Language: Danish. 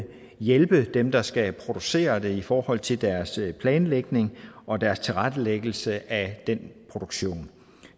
hjælpe dem der skal producere det i forhold til deres planlægning og deres tilrettelæggelse af produktionen